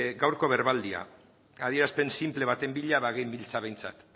gaurko berbaldia adierazpen sinple baten bila bagenbiltza behintzat